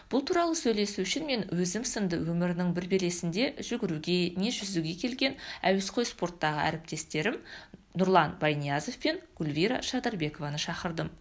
бұл туралы сөйлесу үшін мен өзім сынды өмірінің бір белесінде жүгіруге не жүзуге келген әуесқой спорттағы әріптестерім нұрлан байниязов пен гүлвира шадырбекованы шақырдым